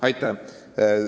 Aitäh!